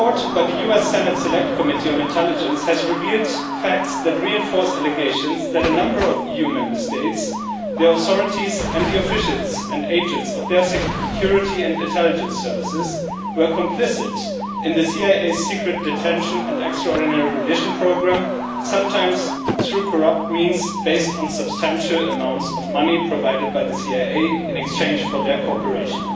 The report by the US Senate Select Committee on Intelligence has revealed facts that reinforce allegations that a number of EU Member States, the authorities and the officials and agents of their security and intelligence services, were complicit in the CIA's secret detention and extraordinary rendition programme, sometimes through corrupt means based on substantial amounts of money provided by the CIA in exchange for their cooperation.